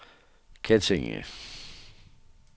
Kettinge